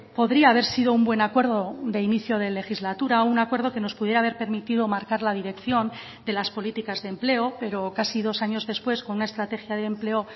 podría haber sido un buen acuerdo de inicio de legislatura un acuerdo que nos pudiera haber permitido marcar la dirección de las políticas de empleo pero casi dos años después con una estrategia de empleo